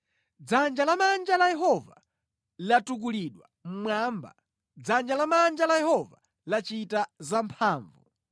Dzanja lamanja la Yehova latukulidwa mmwamba Dzanja lamanja la Yehova lachita zamphamvu!”